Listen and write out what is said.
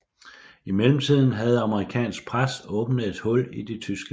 I mellemtiden havde amerikansk pres åbnet et hul i de tyske linjer